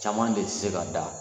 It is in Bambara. Caman de se ka da